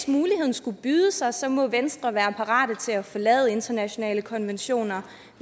skulle byde sig sig må venstre være parate til at forlade internationale konventioner